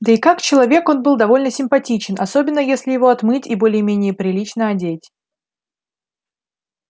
да и как человек он был довольно симпатичен особенно если его отмыть и более-менее прилично одеть